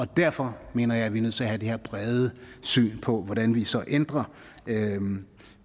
derfor mener jeg at vi er nødt til at have det her brede syn på hvordan vi så ændrer